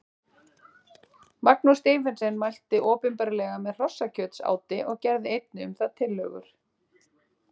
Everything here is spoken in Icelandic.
Magnús Stephensen mælti opinberlega með hrossakjötsáti og gerði einnig um það tillögur.